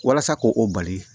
Walasa ko o bali